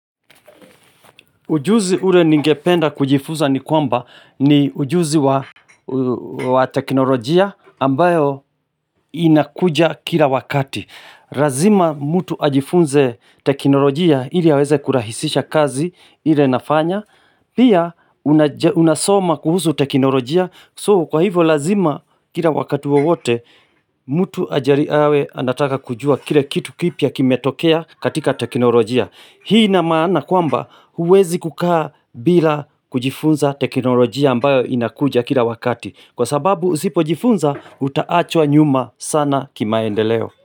Ujuzi ule ningependa kujifunza ni kwamba ni ujuzi wa teknolojia ambayo inakuja kila wakati. Lazima mtu ajifunze teknolojia ili aweze kurahisisha kazi ile nafanya. Pia unasoma kuhusu teknolojia so kwa hivo lazima kila wakati wowote mtu ajari awe anataka kujua kile kitu kipya kimetokea katika teknolojia. Hii ina maana kwamba huwezi kukaa bila kujifunza teknolojia ambayo inakuja kila wakati Kwa sababu usipojifunza utaachwa nyuma sana kimaendeleo.